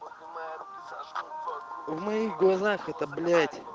в моих глазах это блять